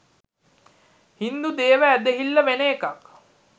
හින්දු දේව ඇදහිල්ල වෙන එකක්